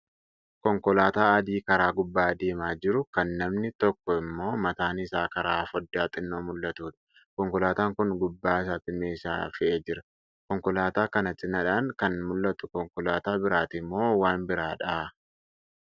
Konkolaataa adii karaa gubbaa deemaa jiru, kan namni tokkoo immoo mataan isaa karaa foddaa xinnoo mul'atudha. Konkolaataan Kun gubbaa isaatti meeshaa fe'ee jira. Konkolaataa kana cinaadhaan kan mul'atu konkolaataa biraati moo waan biraadha?